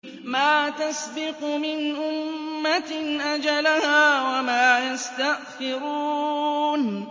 مَا تَسْبِقُ مِنْ أُمَّةٍ أَجَلَهَا وَمَا يَسْتَأْخِرُونَ